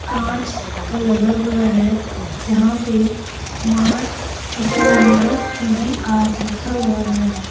कांच का लगा हुआ है जहां पे मार्टस इसमें मार्टस पी_वी_आर लिखा हुआ है।